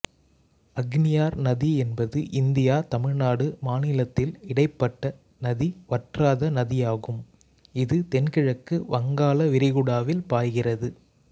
அக்னியார் நதி என்பது இந்தியா தமிழ்நாடு மாநிலத்தில் இடைப்பட்ட நதி வற்றாத நதியாகும் இது தென்கிழக்கு வங்காள விரிகுடாவில் பாய்கிறது